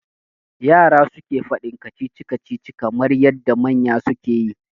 Yara suke faɗin Kacici kacici kamar yadda manya suke yi